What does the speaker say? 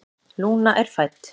Lúna er fædd.